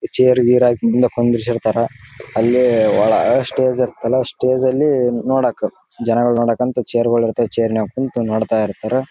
Chair ಗೀರ್ ಹಾಕಿ ಹಿಂದೆ ಕುಂಡ್ರಿಸಿ ಇರ್ತಾರ ಅಲ್ಲೇ ಒಳ ಸ್ಟೇಜ್ ಕೆಲ ಸ್ಟೇಜ್ ಅಲ್ಲಿ ನೋಡಾಕ ಜನಗಳನ್ನ ನೋಡಾಕ ಅಂತ ಚೇರ್ ಗಳು ಇರ್ತಾವ ಚೈರ್ ನಲ್ಲಿ ಕುಂತು ನೋಡ್ತಾ ಇರ್ತಾರ.